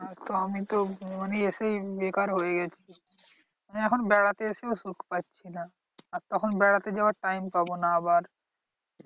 আর তো আমি তো আমি এসেই বেকার হয়ে গেছি। এখন বেড়াতে এসেও সুখ পাচ্ছি না। আর তখন বেরাতে যাওয়ার time পাবো না আবার।